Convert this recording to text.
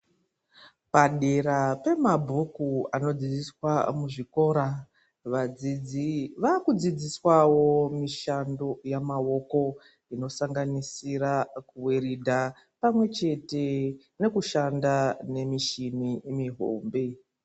Padera pemabhuku anodzidziswa muzvikora vadzidzi vakudzidziswawo mushando yemaoko inosanganisira kuweridha pamwechete nekushanda michini mihombe.